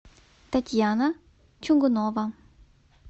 татьяна чугунова